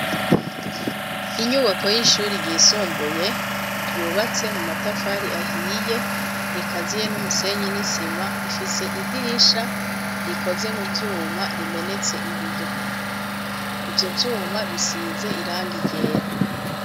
Inyubako y'ishuri ryisumbuye ryubatse mu matafari ahiye rikaziye n'umusenyi n'isima, rifise idirisha rikoze mu vyuma rimenetse ibiyo, ivyo vyuma bisize irangi ryera.